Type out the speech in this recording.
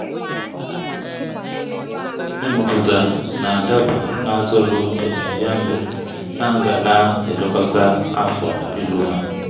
ịmụpụta na-adaba n’atụrụ okenye ya mere a ga na-elekọta afọ ịlụ ha.